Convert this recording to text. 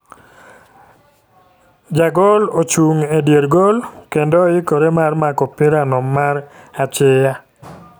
jagol e chung e dier gol kendo oikore mar mako opira no mar achiya.